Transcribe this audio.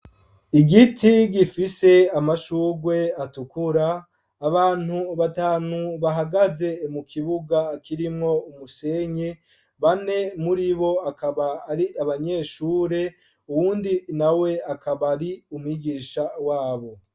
Igiti gifise amashugwe atukura ,abantu batanu bahagaze mu kibuga kirimwo umusenyi ,bane muri bo bakaba ari abanyeshure, uwundi na we akaba ar’umwigisha wabo.